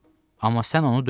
Amma sən onu döydün.